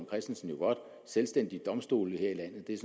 christensen godt selvstændige domstole her i landet det er